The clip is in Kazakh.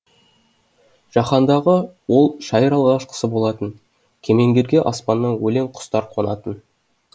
жаһандағы ол шайыр алғашқысы болатын кемеңгерге аспаннан өлең құстар қонатын